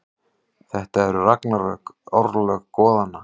Þetta eru ragnarök, örlög goðanna.